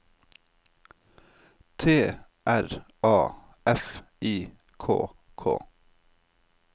T R A F I K K